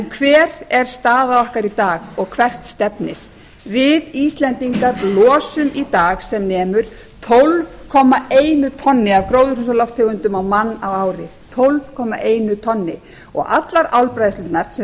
hver er staða okkar í dag og hvert stefnir við íslendingar losum í dag sem nemur tólf komma einu tonni af gróðurhúsalofttegundum á mann á ári allar álbræðslurnar sem